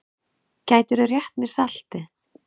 Gætirðu rétt mér saltið?